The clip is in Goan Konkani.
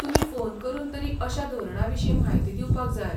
तुमी फोन करून तरी अशा धोरणां विशीं म्हायती दिवपाक जाय.